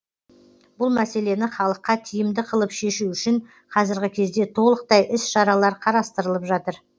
бұл мәселені халыққа тиімді қылып шешу үшін қазіргі кезде толықтай іс шаралар қарастырылып жатыр